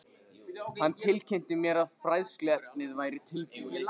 Hann tilkynnti mér, að fræðsluefnið væri tilbúið